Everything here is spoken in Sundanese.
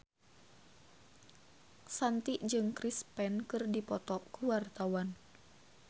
Shanti jeung Chris Pane keur dipoto ku wartawan